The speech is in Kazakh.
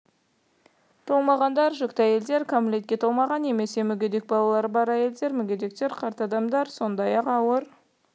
толмағандар жүкті әйелдер кәмелетке толмаған немесе мүгедек балалары бар әйелдер мүгедектер қарт адамдар сондай-ақ ауыр